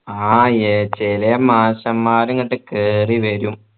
ആഹ് ഏർ ചേലെ മാഷമ്മാര് ഇങ്ങോട്ട് കേറി വരും